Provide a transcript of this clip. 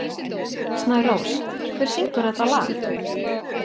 Snærós, hver syngur þetta lag?